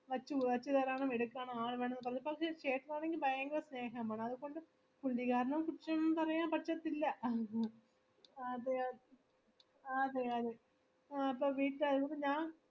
ആളുവേണംമന്ന് പറഞ്ഞപ്പോചേട്ടനാണെങ്കി ഭയങ്കര സ്നേഹാന്ന് അതിനകൊണ്ട് പ്രതികാരംകുറിച്ചൊന്നും പറയാനൊന്നും പറ്റത്തില് ആഹ് അതെ അതെ ആഹ് അതെ അതെ ആ ഇപ്പൊ